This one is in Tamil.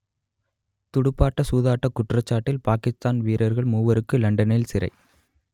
துடுப்பாட்ட சூதாட்டக் குற்றச்சாட்டில் பாக்கித்தான் வீரர்கள் மூவருக்கு லண்டனில் சிறை